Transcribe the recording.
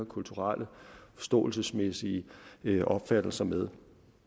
kulturelt og forståelsesmæssigt deler opfattelser med